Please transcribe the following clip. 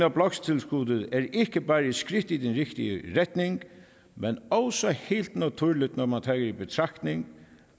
af bloktilskuddet er ikke bare et skridt i den rigtige retning men også helt naturligt når man tager i betragtning